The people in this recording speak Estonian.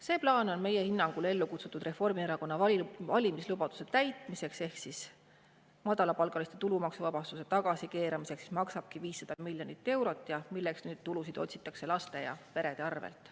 See plaan on meie hinnangul ellu kutsutud Reformierakonna valimislubaduse täitmiseks ehk madalapalgaliste tulumaksuvabastuse tagasikeeramiseks, mis maksabki 500 miljonit eurot ja milleks nüüd tulusid otsitakse laste ja perede arvel.